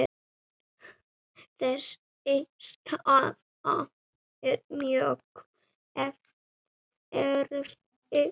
Þessi staða er mjög erfið.